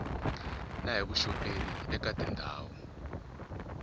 na hi vuxoperi eka tindhawu